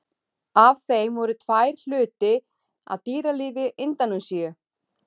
Af þeim voru tvær hluti af dýralífi Indónesíu.